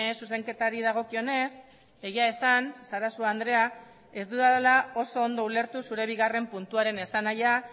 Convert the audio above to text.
zuzenketari dagokionez egia esan sarasua andrea ez dudala oso ondo ulertu zure bigarren puntuaren esanahia